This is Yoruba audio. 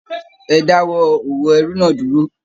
Ẹ dáwọ́ òwò ẹrú náà dúró.